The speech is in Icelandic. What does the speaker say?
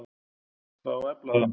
Það á að efla það.